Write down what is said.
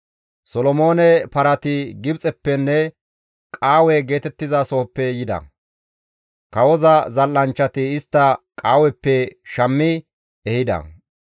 Solomoone parati Gibxeppenne Qaawe geetettizasohoppe yida; kawoza zal7anchchati istta Qaaweppe shammi ehida.